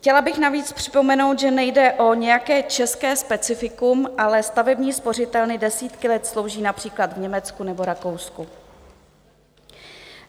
Chtěla bych navíc připomenout, že nejde o nějaké české specifikum, ale stavební spořitelny desítky let slouží například v Německu nebo Rakousku.